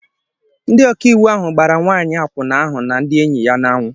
Ndị ọkàiwu ahụ gbara nwanyị akwụna ahụ na ndị enyi ya n'anwu